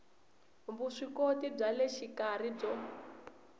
vuswikoti bya le xikarhi byo